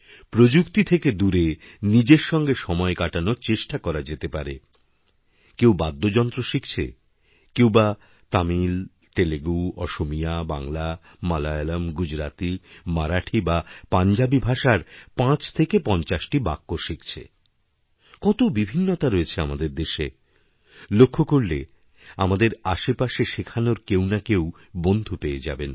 প্রযুক্তি থেকে দূরে নিজের সঙ্গেসময় কাটানোর চেষ্টা করা যেতে পারে কেউ বাদ্যযন্ত্র শিখছে কেউ বা তামিলতেলেগু অসমীয়া বাংলা মালয়ালম গুজরাতি মারাঠী বা পাঞ্জাবী ভাষার পাঁচ থেকেপঞ্চাশটি বাক্য শিখছে কত বিভিন্নতা রয়েছে আমাদের দেশে লক্ষ্য করলে আমাদের আশপাশেশেখানোর কেউ না কেউ বন্ধু পেয়ে যাবেন